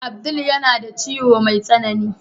Abdul yana da ciwon mai tsanani.